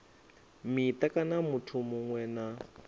mita kana muthu muṅwe na